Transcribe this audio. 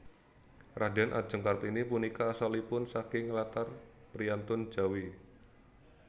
Raden Adjeng Kartini punika asalipun saking latar priyantun Jawi